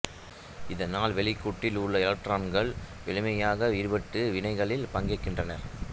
இதனால் வெளிக்கூட்டில் உள்ள எலக்ட்ரான்கள் எளிமையாக விடுபட்டு வினைகளில் பங்கேற்கின்றன